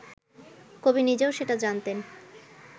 কবি নিজেও সেটা জানতেন